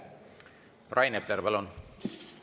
Rain Epler, palun!